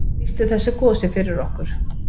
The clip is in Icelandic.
Lýstu þessu gosi fyrir okkur.